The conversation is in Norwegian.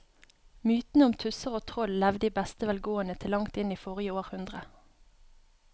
Mytene om tusser og troll levde i beste velgående til langt inn i forrige århundre.